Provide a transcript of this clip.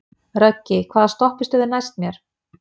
Röggi, hvaða stoppistöð er næst mér?